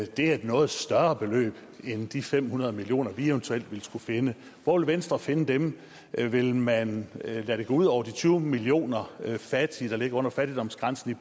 det er et noget større beløb end de fem hundrede million kr vi eventuelt vil skulle finde hvor vil venstre finde dem vil man lade det gå ud over de tyve millioner fattige i lever under fattigdomsgrænsen